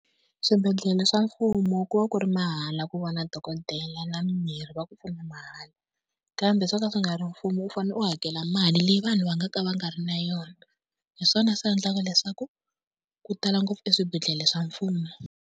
Swibedhlele swa mfumo ku va ku ri mahala ku vona dokodela na mimirhi va ku pfuna mahala. Kambe swo ka swi nga ri mfumo u fanele u hakela mali leyi vanhu va nga ka va nga ri na yona hi swona swi endlaka leswaku ku tala ngopfu swibedhlele swa mfumo.